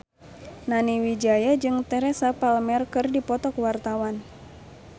Nani Wijaya jeung Teresa Palmer keur dipoto ku wartawan